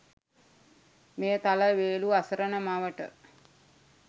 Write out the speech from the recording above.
මෙය තල වේලු අසරණ මවට